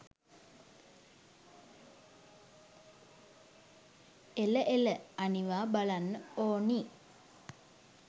එල එල අනිවා බලන්න ඔනි